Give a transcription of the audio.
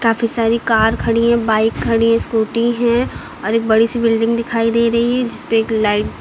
काफ़ी सारी कार खड़ी हैं बाइक खड़ी हैं स्कूटी हैं और एक बड़ी सी बिल्डिंग दिखाई दे रही है जिस पे एक लाइट --